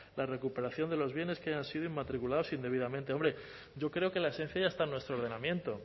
la recuperación de los bienes que hayan sido inmatriculados indebidamente hombre yo creo que la esencia ya está en nuestro ordenamiento